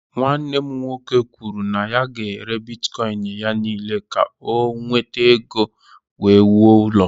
Nwanne m nwoke kwuru na ya ga-ere bitkọịn ya niile ka o nweta ego wee wuo ụlọ.